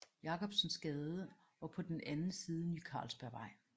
Jacobsens Gade og på den anden side Ny Carlsberg Vej